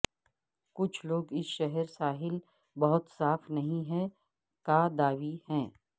کچھ لوگ اس شہر ساحل بہت صاف نہیں ہیں کا دعوی ہے